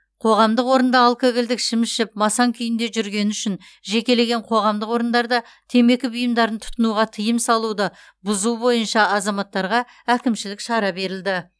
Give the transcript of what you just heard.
қоғамдық орында алкогольдік ішім ішіп масаң күйінде жүргені үшін жекелеген қоғамдық орындарда темекі бұйымдарын тұтынуға тыйым салуды бұзу бойынша азаматтарға әкімшілік шара берілді